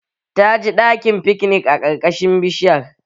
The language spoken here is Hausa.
Ta ji daɗin fiknik a ƙarƙashin bishiyar